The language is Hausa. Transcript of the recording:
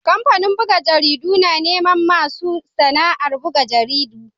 Kamfanin buga jaridu na neman masu sana'ar buga jaridu.